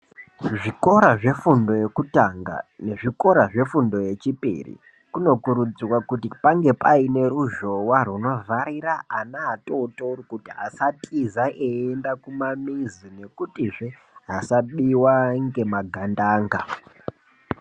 Zvikora zve fundo yekutanga ne zvikora zve fundo ye chipiri kuno kurudzirwa kuti pange paine ruzhowa huno vharira ana atotori kuti asa tiza eyi enda kuma mizi nekuti zvee asa biwa ngema gandanga.